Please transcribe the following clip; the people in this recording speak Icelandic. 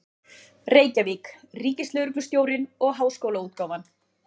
Reykjavík: Ríkislögreglustjórinn og Háskólaútgáfan.